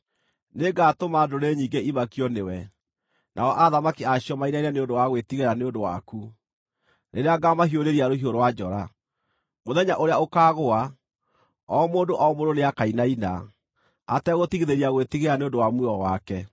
Nĩngatũma ndũrĩrĩ nyingĩ imakio nĩwe, nao athamaki a cio mainaine nĩ ũndũ wa gwĩtigĩra nĩ ũndũ waku, rĩrĩa ngaamahiũrĩria rũhiũ rwa njora. Mũthenya ũrĩa ũkaagũa, o mũndũ o mũndũ nĩakainaina ategũtigithĩria gwĩtigĩra nĩ ũndũ wa muoyo wake.